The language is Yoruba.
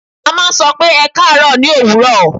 À n máa n sọ pé 'Ẹ kaàárọ̀ o' ní òwúrò